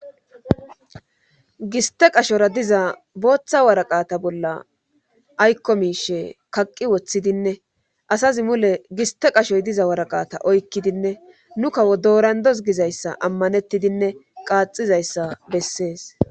Giste qashora diza booththa waraqata bolla aykko miishe kaqqi woththidinne asazi mule giste qashoy diza waraqata oykkidinne nu kawo doorandos gizayssa ammanettidinne qaaxizayssa bessees.